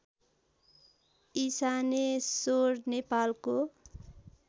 इशानेश्वर नेपालको